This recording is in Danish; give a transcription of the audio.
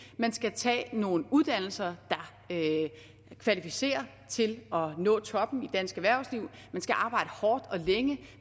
man skal tage nogle uddannelser der kvalificerer til at nå toppen i dansk erhvervsliv man skal arbejde hårdt og længe